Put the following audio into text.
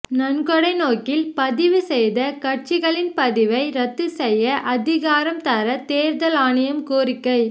நன்கொடை நோக்கில் பதிவு செய்த கட்சிகளின் பதிவை ரத்து செய்ய அதிகாரம் தர தேர்தல் ஆணையம் கோரிக்கை